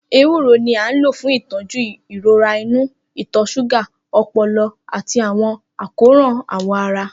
Ewuro ni a lo fun itọju irora inu, ìtọ́ ṣúgà, ọpọlọ, ati awọn akoran awọ ara.